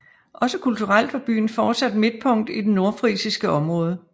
Også kulturelt var byen fortsat midtpunkt i det nordfrisiske område